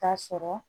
K'a sɔrɔ